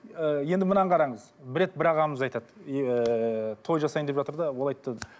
ы енді мынаны қараңыз бір рет бір ағамыз айтады ыыы той жасайын деп жатыр да ол айтты